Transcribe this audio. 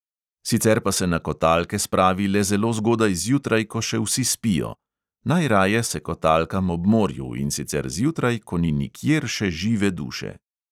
Sicer pa se na kotalke spravi le zelo zgodaj zjutraj, ko še vsi spijo: "najraje se kotalkam ob morju, in sicer zjutraj, ko ni nikjer še žive duše."